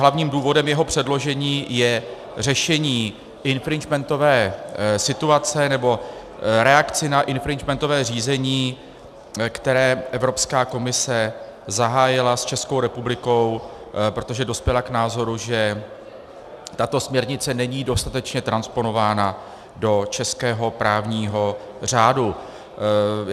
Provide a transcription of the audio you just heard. Hlavním důvodem jeho předložení je řešení infringementové situace nebo reakce na infringementové řízení, které Evropská komise zahájila s Českou republikou, protože dospěla k názoru, že tato směrnice není dostatečně transponována do českého právního řádu.